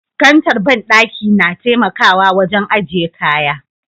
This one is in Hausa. Kantar bandaki na taimakawa wajen aje kaya.